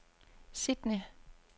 Sydney